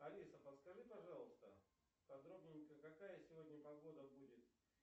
алиса подскажи пожалуйста подробненько какая сегодня погода будет